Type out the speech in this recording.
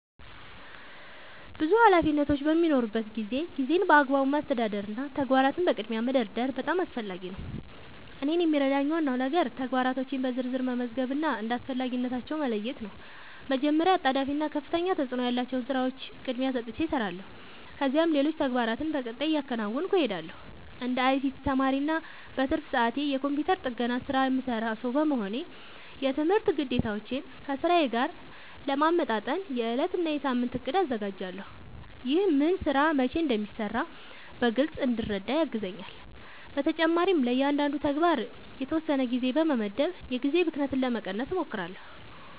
ብዙ ኃላፊነቶች በሚኖሩበት ጊዜ ጊዜን በአግባቡ ማስተዳደር እና ተግባራትን በቅድሚያ መደርደር በጣም አስፈላጊ ነው። እኔን የሚረዳኝ ዋናው ነገር ተግባራቶቼን በዝርዝር መመዝገብ እና እንደ አስፈላጊነታቸው መለየት ነው። መጀመሪያ አጣዳፊ እና ከፍተኛ ተፅእኖ ያላቸውን ሥራዎች ቅድሚያ ሰጥቼ እሰራለሁ፣ ከዚያም ሌሎች ተግባራትን በቀጣይ እያከናወንሁ እሄዳለሁ። እንደ አይሲቲ ተማሪ እና በትርፍ ሰዓቴ የኮምፒውተር ጥገና ሥራ የምሠራ ሰው በመሆኔ፣ የትምህርት ግዴታዎቼን ከሥራዬ ጋር ለማመጣጠን የዕለት እና የሳምንት እቅድ አዘጋጃለሁ። ይህ ምን ሥራ መቼ እንደሚሠራ በግልጽ እንድረዳ ያግዘኛል። በተጨማሪም ለእያንዳንዱ ተግባር የተወሰነ ጊዜ በመመደብ የጊዜ ብክነትን ለመቀነስ እሞክራለሁ።